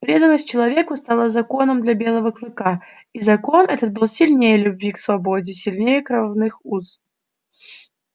преданность человеку стала законом для белого клыка и закон этот был сильнее любви к свободе сильнее кровных уз